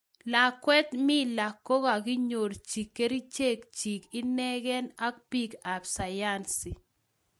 Lakwet mila kaginyorchi kerichek chik inegen ak piik ap sayansi